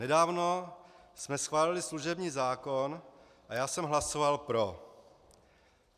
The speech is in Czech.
Nedávno jsme schválili služební zákon a já jsem hlasoval pro.